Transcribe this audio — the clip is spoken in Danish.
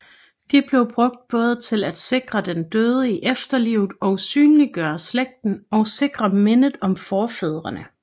De blev brugt både til at sikre den døde i efterlivet og synliggøre slægten og sikre mindet om forfædrene